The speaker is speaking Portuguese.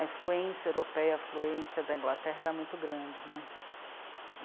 A influência europeia, a influência da Inglaterra era muito grande né.